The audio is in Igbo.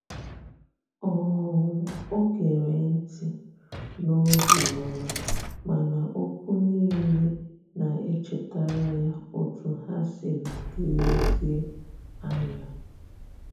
um o gere nti n'obioma, mana okwu nile na echetara ya otu ha siri dirizie anya.